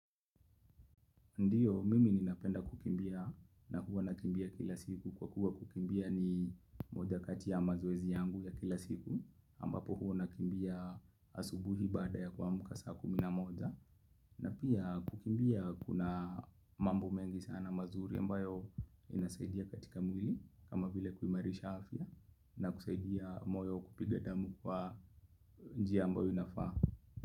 Ndio mimi ninapenda kukimbia na huwa nakimbia kila siku kwa kuwa kukimbia ni moja kati ya mazoezi yangu ya kila siku ambapo huwa nakimbia asubuhi baada ya kuamka saa kumi na moja na pia kukimbia kuna mambo mengi sana mazuri ambayo inasaidia katika mwili kama vile kuimarisha afya na kusaidia moyo kupiga damu kwa njia ambayo inafaa.